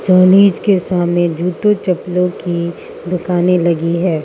College के सामने जूतों चप्पलों की दुकानें लगी है।